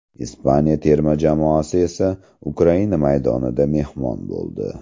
Ispaniya terma jamoasi esa Ukraina maydonida mehmon bo‘ldi.